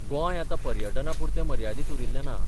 गोंय आतां पर्यटनापुरतें मर्यादीत उरिल्लें ना.